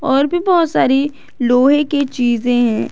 और भी बहुत सारी लोहे की चीजे हैं।